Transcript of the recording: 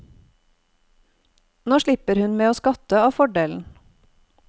Nå slipper hun med å skatte av fordelen.